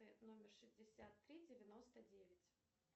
номер шестьдесят три девяносто девять